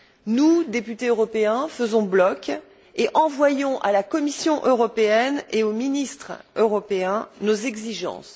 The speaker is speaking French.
Nous, députés européens, faisons bloc et envoyons à la Commission européenne et aux ministres européens nos exigences.